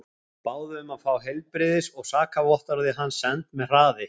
Báðu um að fá heilbrigðis og sakavottorðið hans sent með hraði.